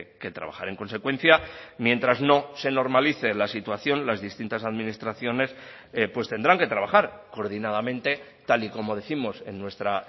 que trabajar en consecuencia mientras no se normalice la situación las distintas administraciones pues tendrán que trabajar coordinadamente tal y como décimos en nuestra